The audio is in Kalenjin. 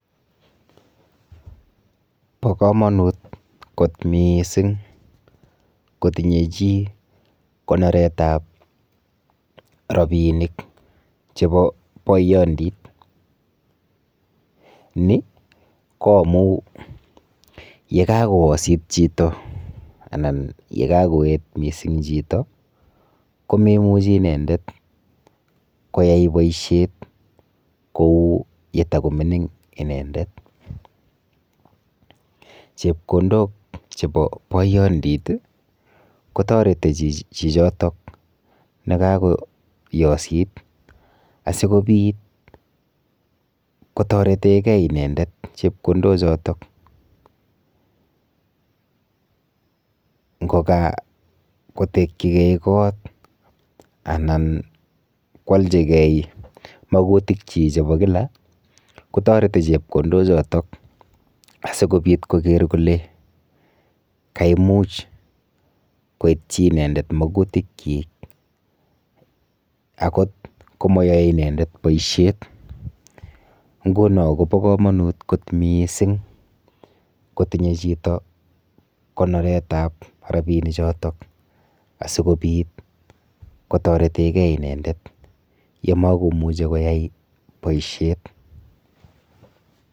Bo komonut kot mising kotinye chi konoretab rapinik chebo boyondit ni ko amun yekakoyosit chito anan yekakoet mising chito komemuchi inendet koyai boishet kou yetokomingin inendet chepkondok chebo boyondit ko toreti chichotok nekakoyosit asikopit kotoreten Kee inendet chepkondok chotok ngoka kotekyikee kot Alan kwolchikee mogutik chik chebo kila kotoreti chepkondok chotok asikopit koker kole kaimuch koityi inendet magutikyik akot komoyoe inendet boishet ngunon Kobo komonut kot mising kotinye chiito konoretab rapini chotok asikopit kotoreten Kee inendet yemokomuche koyai boishet